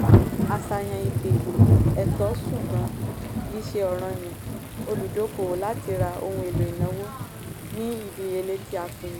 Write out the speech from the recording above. àṣàyàn ìpè - ẹ̀tọ́ ṣùgbọ́n kìí ṣe ọ̀ranyan olùdókòwò láti ra ohun èlò ìnáwó ní ìdíyelé tí a pinnu.